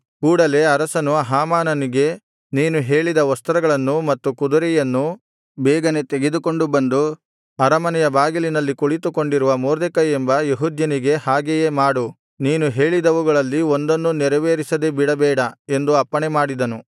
ಕೂಡಲೆ ಅರಸನು ಹಾಮಾನನಿಗೆ ನೀನು ಹೇಳಿದ ವಸ್ತ್ರಗಳನ್ನೂ ಮತ್ತು ಕುದುರೆಯನ್ನೂ ಬೇಗನೆ ತೆಗೆದುಕೊಂಡು ಬಂದು ಅರಮನೆಯ ಬಾಗಿಲಿನಲ್ಲಿ ಕುಳಿತುಕೊಂಡಿರುವ ಮೊರ್ದೆಕೈ ಎಂಬ ಯೆಹೂದ್ಯನಿಗೆ ಹಾಗೆಯೇ ಮಾಡು ನೀನು ಹೇಳಿದವುಗಳಲ್ಲಿ ಒಂದನ್ನೂ ನೆರವೇರಿಸದೆ ಬಿಡಬೇಡ ಎಂದು ಅಪ್ಪಣೆಮಾಡಿದನು